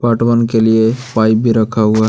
part one के लिए pipe भी रखा हुआ--